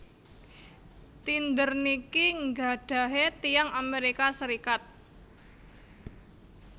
Tinder niki nggadhahe tiyang Amerika Serikat